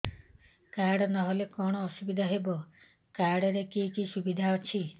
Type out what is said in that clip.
card ନହେଲେ କଣ ଅସୁବିଧା ହେବ କାର୍ଡ ରେ କି କି ସୁବିଧା ଅଛି